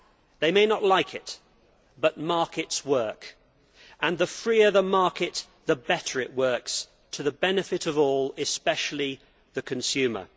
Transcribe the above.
They may not like it, but markets work, and the freer the market, the better it works, to the benefit of all, especially the consumer.